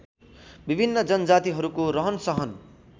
विभिन्न जनजातिहरूको रहनसहन